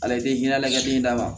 Ala ye hinɛ ka den d'a ma